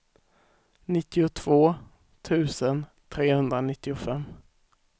nittiotvå tusen trehundranittiofem